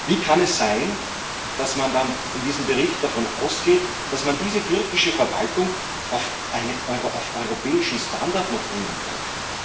Wie kann es sein, dass man dann in diesem Bericht davon ausgeht, dass man diese türkische Verwaltung noch auf europäischen Standard bringen könnte?